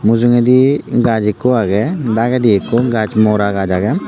mujjo geydee ghas ekko aage daa geydee ekko moraa ghas aage.